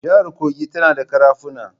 Jihar Kogi tana da ƙarafuna.